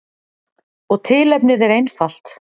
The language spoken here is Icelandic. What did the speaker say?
Og tilefnið er einfalt.